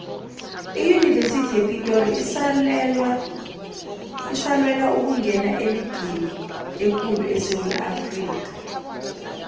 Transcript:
iyunivesithi yepitori isalwela ukungena eligini ekulu esewula afrikha